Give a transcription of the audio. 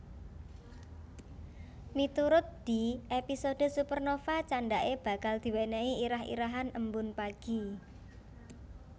Miturut Dee episode Supernova candhake bakal diwenehi irah irahan Embun Pagi